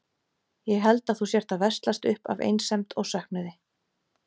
Ég held að þú sért að veslast upp af einsemd og söknuði.